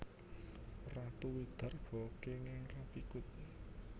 Ratu Widarba kènging kapikut